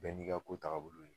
Bɛɛ n'i ka ko tagabolo de don